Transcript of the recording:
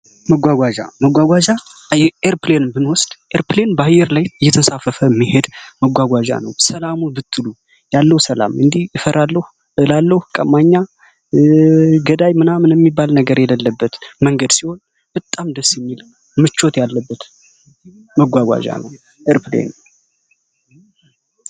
መጓጓዣ መጓጓዣ ኤርፕሌንን ብንወስድ ኤርፕሌን በአየር ላይ እየተንሳፈፈች የሚሄድ መጓጓዣ ነው። ሰላሙ ብትሉ ያለው ሰላም ይፈራሉ ይላሉ ቀማኛ ገዳይ ምናምን የሚባል ነገር የሌለበት መንገድ ሲሆን፤ በጣም ደስ የሚል ነው። ምቾት ያለበት መጓጓዣ ነው ኤርፕሌን።